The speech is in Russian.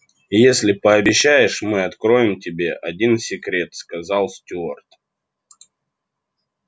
если пообещаешь мы откроем тебе один секрет сказал стюарт